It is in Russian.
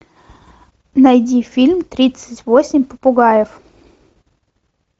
найди фильм тридцать восемь попугаев